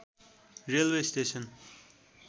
railway station